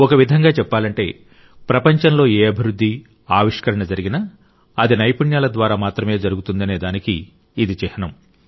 ఒక విధంగా చెప్పాలంటే ప్రపంచంలో ఏ అభివృద్ధి ఆవిష్కరణ జరిగినా అది నైపుణ్యాల ద్వారా మాత్రమే జరుగుతుందనేదానికి ఇది చిహ్నం